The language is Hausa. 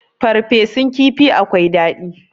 farfesun kifi akwai dadi